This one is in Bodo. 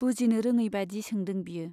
बुजिनो रोङै बाइदि सोंदों बियो।